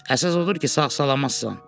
Əsas odur ki, sağ-salamatsan.